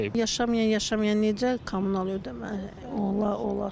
Yaşamayan, yaşamayan necə kommunal ödəmə olar?